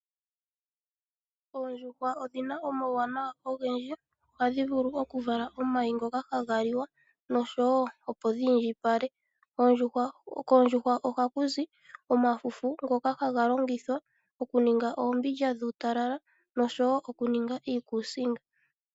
Oondjuhwa odhina omauwanawa ogendji, ohadhi vulu okuvala omayi ngoka haga liwa nosho wo opo dhiindjipale. Koondjuhwa ohaku zi omafufu ngoka haga longitha okuninga oombindja dhuutalala osho wo iikusinga.